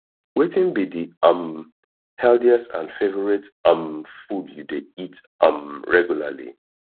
wetin be di um healthiest and favorite um food you dey eat um reguarly